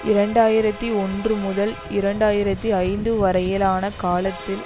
இரண்டு ஆயிரத்தி ஒன்று முதல் இரண்டு ஆயிரத்தி ஐந்து வரையிலான காலத்தில்